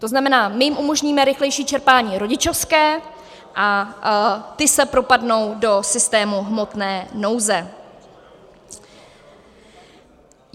To znamená, my jim umožníme rychlejší čerpání rodičovské a ti se propadnou do systému hmotné nouze.